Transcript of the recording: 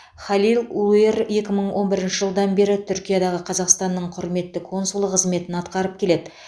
халил улуер екі мың он бірінші жылдан бері түркиядағы қазақстанның құрметті консулы қызметін атқарып келеді